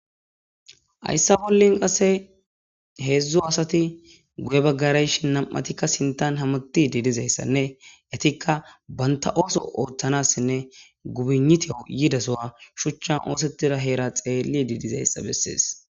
Ayssa bollin qasse heedzdzu asati guye baggarayshinam'atikk sintan hamuti diidizayssanne etikka banta ooso ooththanassinne gubiniteo yidasowa shuchchan oosettida heera xeelli diidizayssa bessees.